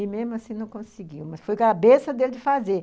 E mesmo assim não conseguiu, mas foi a cabeça dele fazer.